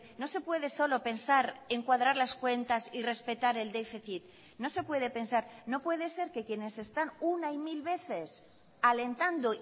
no se puede solo pensar en cuadrar las cuentas y respetar el déficit no se puede pensar no puede ser que quienes están una y mil veces alentando